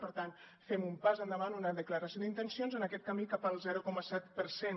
per tant fem un pas endavant una declaració d’intencions en aquest camí cap al zero coma set per cent